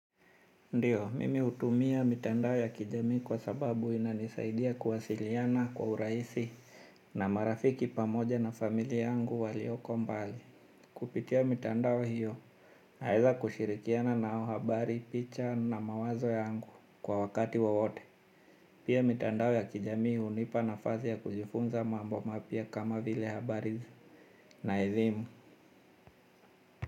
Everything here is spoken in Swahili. Ndiyo, mimi utumia mitandao ya kijamii kwa sababu inanisaidia kuwasiliana kwa urahisi na marafiki pamoja na familia yangu walioko mbali. Kupitia mitandao hiyo, naeza kushirikiana na o habari, picha na mawazo yangu kwa wakati wowote. Pia mitandao ya kijamii hunipa na fasi ya kujifunza mambo mapya kama vile habari na elimu.